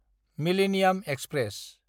millennium express